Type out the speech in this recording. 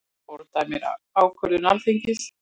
Fordæmir ákvörðun Alþingis